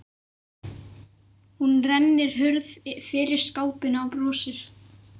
Hún rennir hurð fyrir skápinn og brosir.